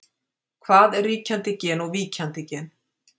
Hvað er ríkjandi gen og víkjandi gen?